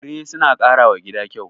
Fure suna ƙara wa gida kyau.